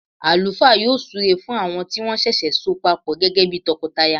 Àlùfáà yọ súre fún àwọn tí wọ́n ṣẹ̀ṣẹ̀ so papọ gẹ́gẹ́ bí tọkọtaya